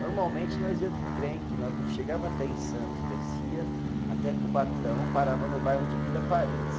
Normalmente nós ia de trem, que nós não chegava até em Santos, descia até Cubatão, parava no bairro de Vila Paris.